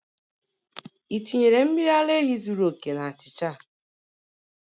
Ị tinyere mmiri ara ehi zuru oke na achịcha?